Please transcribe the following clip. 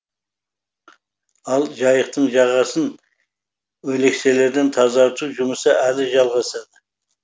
ал жайықтың жағасын өлекселерден тазарту жұмысы әлі жалғасады